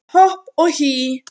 Hopp og hí